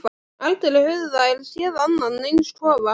Aldrei höfðu þær séð annan eins kofa.